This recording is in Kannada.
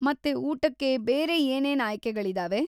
ಮತ್ತೆ ಊಟಕ್ಕೆ ಬೇರೆ ಏನೇನ್ ಆಯ್ಕೆಗಳಿದಾವೆ?